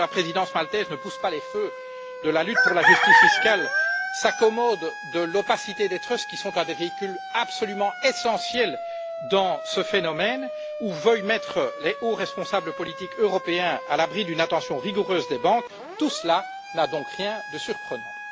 Alors, que la présidence maltaise ne pousse pas les feux dans la lutte pour la justice fiscale, s'accommode de l'opacité des trusts, qui sont un des véhicules absolument essentiels dans ce phénomène, ou veuille mettre les hauts responsables politiques européens à l'abri d'une attention rigoureuse des banques, tout cela n'a donc rien de surprenant.